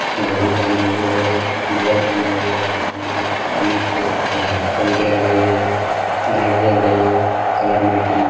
घड़ी पहने हुए है और लोअर पहने हुए है और बनियाइन कमीज पे खड़ा है। पंखे लगे हुए हैं। लाइट जल रही है। Colour material --